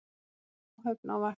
Aðeins ein áhöfn á vakt